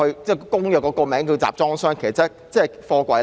《公約》的名稱用了集裝箱，其實是指貨櫃。